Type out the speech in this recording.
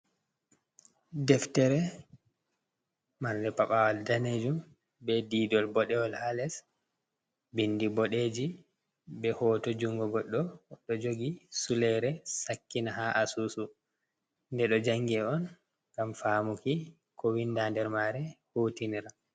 Deftere marde pabawal danejum be didol bodewol ,ha les bindi bodeji be hoto jungo goddo do jogi sulaire sakkina ha asusu de do jangi on gam famuki ko winda nder mare hutinira.